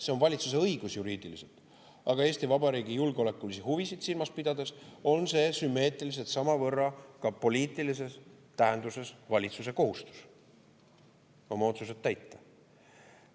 See on valitsuse õigus juriidiliselt, aga Eesti Vabariigi julgeolekulisi huvisid silmas pidades on see sümmeetriliselt samavõrra ka poliitilises tähenduses valitsuse kohustus oma otsused täita.